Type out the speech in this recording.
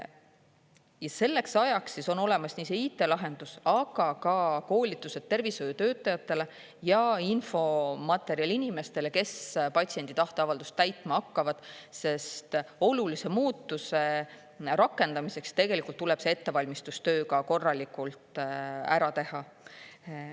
Ja selleks ajaks on olemas nii see IT-lahendus kui ka koolitused tervishoiutöötajatele ja infomaterjal inimestele, kes patsiendi tahteavaldust täitma hakkavad, sest olulise muutuse rakendamiseks tuleb see ettevalmistustöö ka korralikult ära teha.